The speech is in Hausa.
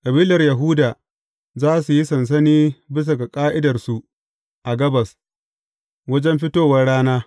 Kabilar Yahuda za su yi sansani bisa ga ƙa’idarsu a gabas, wajen fitowar rana.